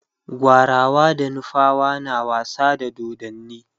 gwarawa da nufawa na wasa da dodanni